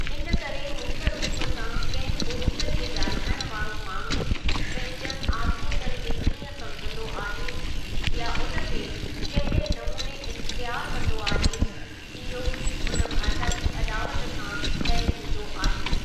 इनकरे मुख्य रूप सां कंहिं ॿोलीअ खे ॻाल्हाइण वारो माण्हूं पंहिंजनि आज़मूदनि खे कीअं समुझंदो आहे या उनखे कहिड़े नमूने इख्तियारु कंदो आहे, इहो उन भाषा जी अॾावत सां तय थींदो आहे।